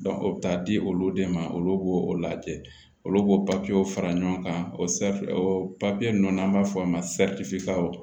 o bɛ taa di olu de ma olu b'o lajɛ olu b'o papiyew fara ɲɔgɔn kan o o papiye ninnu n'an b'a fɔ o ma